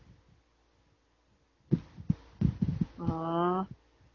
ஆஹ்